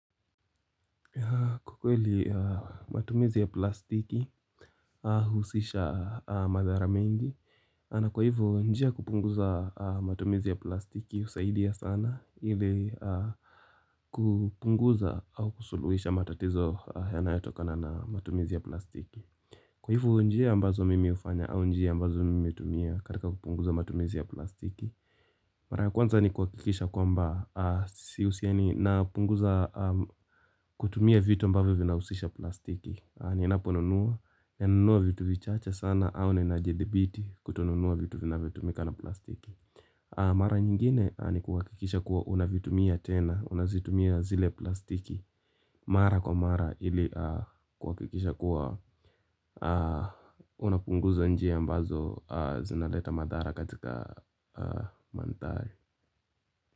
Kwa kweli matumizi ya plastiki ahusisha madhara mengi na kwa hivu njia kupunguza matumizi ya plastiki husaidia sana ili kupunguza au kusuluhisha matatizo yanayatokana na matumizi ya plastiki Kwa hivyo njia ambazo mimi hufanya au njia ambazo mimi hutumia katika kupunguza matumizi ya plastiki Mara ya kwanza ni kuhakikisha kwamba sihusiani na punguza kutumia vitu ambavyo vinausisha plastiki Ninapo nunua, nanunua vitu vichache sana au ninajidhibiti kutonunua vitu vinavyo tumika na plastiki Mara nyingine ni kukikisha kuwa unavitumia tena, unazitumia zile plastiki Mara kwa mara ili kukikisha kuwa unapunguza njia ambazo zinaleta madhara katika mandhari.